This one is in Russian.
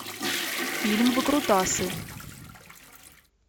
фильм выкрутасы